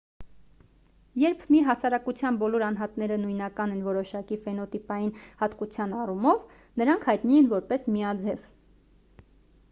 երբ մի հասարակության բոլոր անհատները նույնական են որոշակի ֆենոտիպային հատկության առումով նրանք հայտնի են որպես միաձև